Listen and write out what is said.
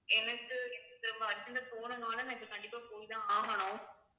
எனக்கு இப்~ திரும்ப urgent ஆ போகணும்னால நான் இப்ப கண்டிப்பா போய்தான் ஆகணும்